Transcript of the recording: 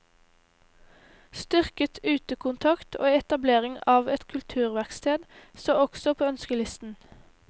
Styrket utekontakt og etablering av et kulturverksted står også på ønskelisten.